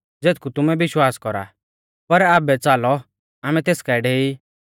और हाऊं तुमारी वज़ाह कु खुश ऊ कि हाऊं तिऐ नाईं थौ ज़ेथकु तुमै विश्वास कौरा पर आबै च़ालौ आमै तेस काऐ डेई